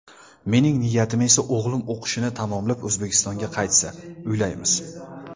Mening niyatim esa o‘g‘lim o‘qishini tamomlab, O‘zbekistonga qaytsa, uylaymiz.